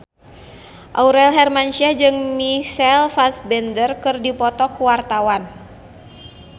Aurel Hermansyah jeung Michael Fassbender keur dipoto ku wartawan